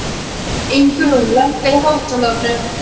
Ingrún, lækkaðu í hátalaranum.